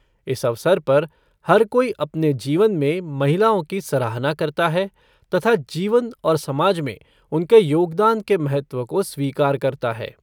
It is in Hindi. इस अवसर पर हर कोई अपने जीवन में महिलाओं की सराहना करता है तथा जीवन और समाज में उनके योगदान के महत्व को स्वीकार करता है।